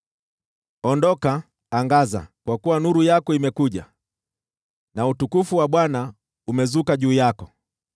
“Ondoka, angaza, kwa kuwa nuru yako imekuja na utukufu wa Bwana umezuka juu yako.